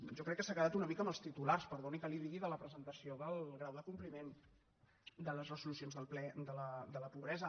jo crec que s’ha quedat una mica amb els titulars perdoni que li ho digui de la presentació del grau del compliment de les resolucions del ple de la pobresa